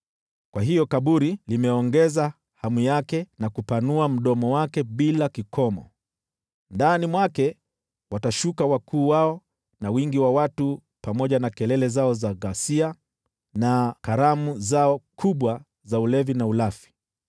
Kwa hiyo kaburi limeongeza hamu yake na kupanua mdomo wake bila kikomo, ndani mwake watashuka wakuu wao na wingi wa watu, pamoja na wagomvi wao, na wafanyao sherehe wote.